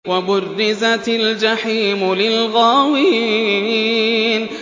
وَبُرِّزَتِ الْجَحِيمُ لِلْغَاوِينَ